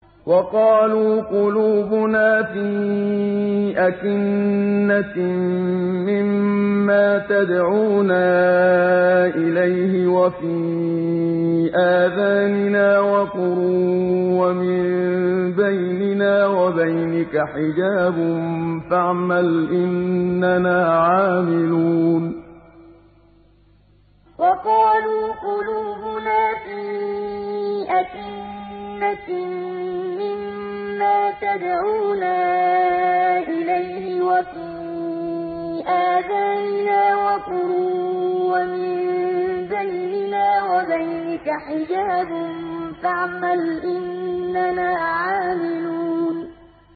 وَقَالُوا قُلُوبُنَا فِي أَكِنَّةٍ مِّمَّا تَدْعُونَا إِلَيْهِ وَفِي آذَانِنَا وَقْرٌ وَمِن بَيْنِنَا وَبَيْنِكَ حِجَابٌ فَاعْمَلْ إِنَّنَا عَامِلُونَ وَقَالُوا قُلُوبُنَا فِي أَكِنَّةٍ مِّمَّا تَدْعُونَا إِلَيْهِ وَفِي آذَانِنَا وَقْرٌ وَمِن بَيْنِنَا وَبَيْنِكَ حِجَابٌ فَاعْمَلْ إِنَّنَا عَامِلُونَ